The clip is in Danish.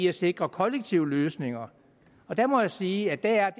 at sikre kollektive løsninger og der må jeg sige at